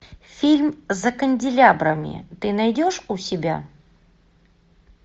фильм за канделябрами ты найдешь у себя